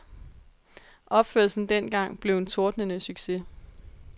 Opførelsen dengang blev en tordnende succes.